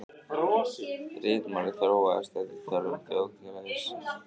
Ritmálið þróaðist eftir þörfum þjóðfélagsins.